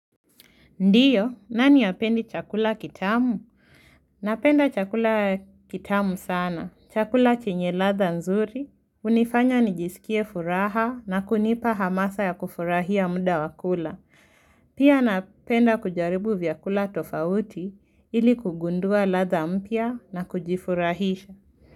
Ndiyo, nani apendi chakula kitamu? Napenda chakula kitamu sana. Chakula chenye ladha nzuri. Hunifanya nijisikie furaha na kunipa hamasa ya kufurahia muda wa kula. Pia napenda kujaribu vyakula tofauti ili kugundua ladha mpya na kujifurahisha.